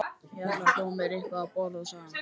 Ég ætla að fá mér eitthvað að borða sagði hann.